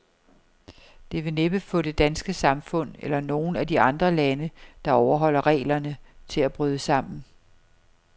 Det vil næppe få det danske samfund, eller nogen af de andre lande, der overholder reglerne, til at bryde sammen.